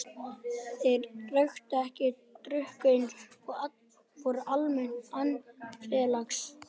Þeir reyktu ekki og drukku ekki og voru almennt andfélagslegir.